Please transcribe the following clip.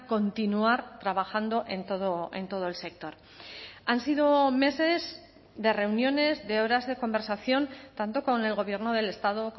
continuar trabajando en todo el sector han sido meses de reuniones de horas de conversación tanto con el gobierno del estado